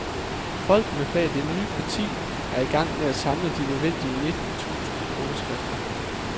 Folkene bag det nye parti er i gang med at samle de nødvendige nitten tusind underskrifter.